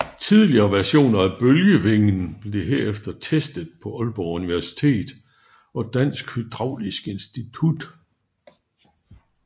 Tidlige versioner af bølgevingen blev herefter testet på Aalborg Universitet og Dansk Hydraulisk Institut